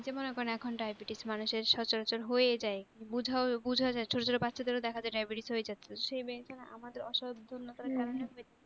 এই যে মনে করেন এখন daibetes মানুষের সচরাচর হয়েই যায়, বুজাও বুজা যায়, ছোট ছোট বাচ্চাদেরও দেখা যায় diabetes হয়ে যাচ্ছে। সে আমাদের অসাবধানতার কারণে হয়ে যাচ্ছে।